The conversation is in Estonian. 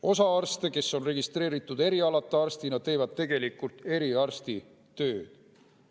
Osa arste, kes on registreeritud erialata arstina, teevad tegelikult eriarsti tööd.